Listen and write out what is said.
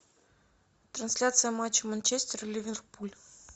трансляция матча манчестер ливерпуль